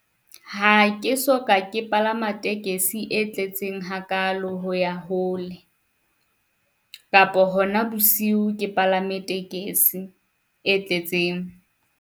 Ha ke soka ke palama tekesi e tletseng hakalo ho ya hole kapo hona bosiu ke palame tekesi e tletseng.